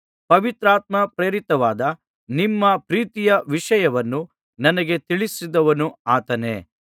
ಪವಿತ್ರಾತ್ಮಪ್ರೇರಿತವಾದ ನಿಮ್ಮ ಪ್ರೀತಿಯ ವಿಷಯವನ್ನು ನನಗೆ ತಿಳಿಸಿದವನು ಆತನೇ